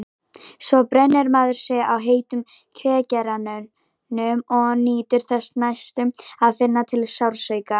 Svo brennir maður sig á heitum kveikjaranum og nýtur þess næstum að finna til sársauka.